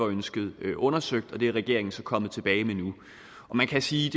ønsket undersøgt og det er regeringen så kommet tilbage med nu man kan sige